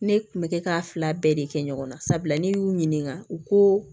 Ne kun bɛ kɛ k'a fila bɛɛ de kɛ ɲɔgɔn na sabula ne y'u ɲininka u ko